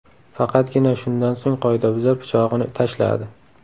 Faqatgina shundan so‘ng qoidabuzar pichog‘ini tashladi.